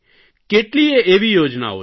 કેટલીયે એવી યોજનાઓ છે